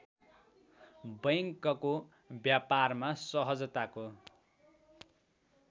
बैंकको व्यापारमा सहजताको